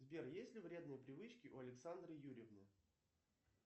сбер есть ли вредные привычки у александры юрьевны